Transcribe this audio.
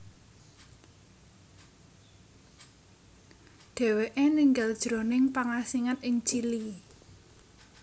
Dhèwèké ninggal jroning pangasingan ing Chili